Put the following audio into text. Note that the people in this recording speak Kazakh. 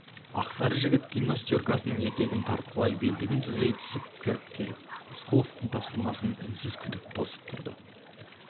ақсары жігіт гимнастеркасының етегін тартқылай белдігін түзей түсіп кіріп келіп рысқұловтың тапсырмасын үнсіз тосып тұрып